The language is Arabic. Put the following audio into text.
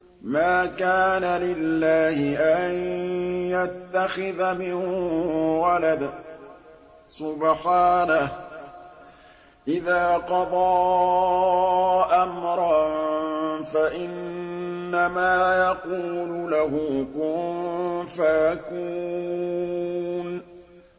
مَا كَانَ لِلَّهِ أَن يَتَّخِذَ مِن وَلَدٍ ۖ سُبْحَانَهُ ۚ إِذَا قَضَىٰ أَمْرًا فَإِنَّمَا يَقُولُ لَهُ كُن فَيَكُونُ